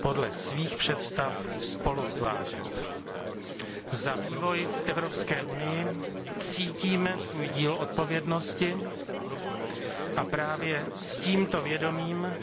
podle svých představ spoluutvářet. Za vývoj v Evropské unii cítíme svůj díl odpovědnosti a právě s tímto vědomím